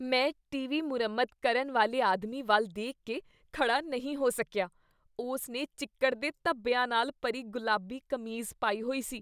ਮੈਂ ਟੀਵੀ ਮੁਰੰਮਤ ਕਰਨ ਵਾਲੇ ਆਦਮੀ ਵੱਲ ਦੇਖ ਕੇ ਖੜ੍ਹਾ ਨਹੀਂ ਹੋ ਸਕੀਆ। ਉਸ ਨੇ ਚਿੱਕੜ ਦੇ ਧੱਬਿਆਂ ਨਾਲ ਭਰੀ ਗੁਲਾਬੀ ਕਮੀਜ਼ ਪਾਈ ਹੋਈ ਸੀ।